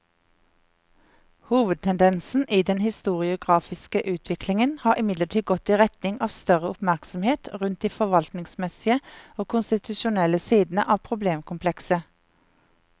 Hovedtendensen i den historiografiske utviklingen har imidlertid gått i retning av større oppmerksomhet rundt de forvaltningsmessige og konstitusjonelle sidene av problemkomplekset.